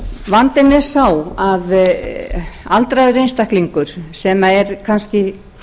vandinn er sá að aldraður einstaklingur sem er kannski